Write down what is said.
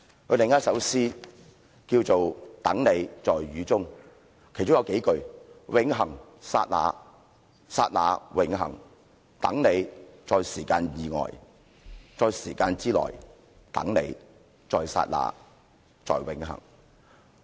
他另一首詩名為"等你，在雨中"，其中有數句："永恆，剎那，剎那，永恆等你，在時間之外在時間之內，等你，在剎那，在永恆。